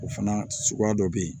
O fana suguya dɔ be yen